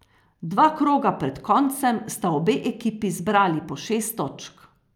Dva kroga pred koncem sta obe ekipi zbrali po šest točk.